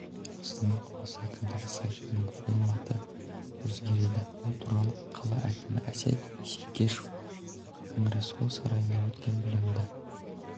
астана қаласы әкімдігі сайтының форматы өзгереді бұл туралы қала әкімі әсет исекешев конгресс-холл сарайында өткен білімді